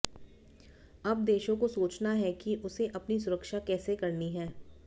अब देशों को सोचना है कि उसे अपनी सुरक्षा कैसे करनी है